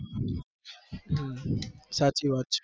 હમ સાચી વાત છે